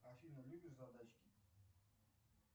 афина любишь задачки